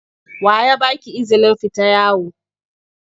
Wa ya ba ki izinin fita yawo?